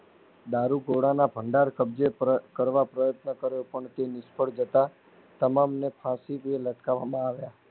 દારૂ ગોળાના ભંડાર કબ્જે કર કરવા પ્રયત્ન કર્યો પણ તે નીસફળ જતા તમામ ને ફાંસીથી લટકાવવામાં આવ્યા.